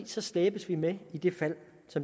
så slæbes vi med i det fald